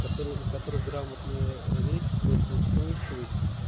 которые у которых грамотная речь стрессоустойчивость